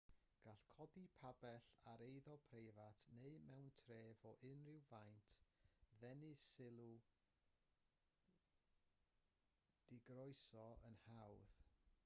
gall codi pabell ar eiddo preifat neu mewn tref o unrhyw faint ddenu sylw digroeso yn hawdd